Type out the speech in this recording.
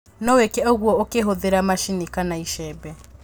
nowĩke ũgwo ũkihũthĩra macini kana icembe.